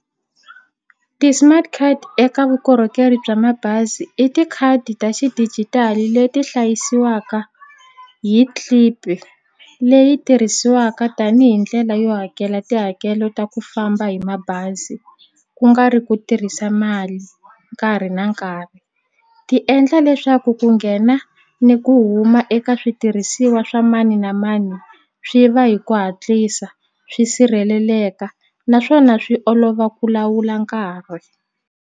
Ti-smart card eka vukorhokeri bya mabazi i tikhadi ta xidijitali leti hlayisiwaka hi clip leyi tirhisiwaka tanihi ndlela yo hakela tihakelo ta ku famba hi mabazi ku nga ri ku tirhisa mali nkarhi na nkarhi ti endla leswaku ku nghena ni ku huma eka switirhisiwa swa mani na mani swi va hi ku hatlisa swi sirheleleka naswona swi olova ku lawula nkarhi.